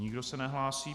Nikdo se nehlásí.